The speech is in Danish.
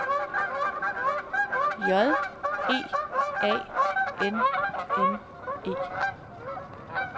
J E A N N E